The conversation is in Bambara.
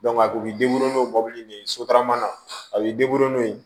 a kun bɛ n'o mɔbili ni sotarama na a b'i n'o ye